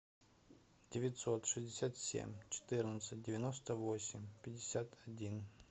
девятьсот шестьдесят семь четырнадцать девяносто восемь пятьдесят один